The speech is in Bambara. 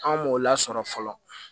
An m'o lasɔrɔ fɔlɔ